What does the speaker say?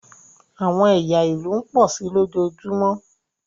àwọn ẹya ilu ń pọ si lojoojumọ.